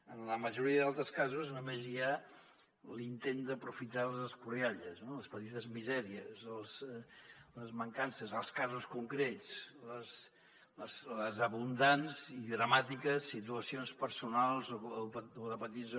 en la majoria dels altres casos només hi ha l’intent d’aprofitar les escorrialles no les petites misèries les mancances els casos concrets les abundants i dramàtiques situacions personals o de petits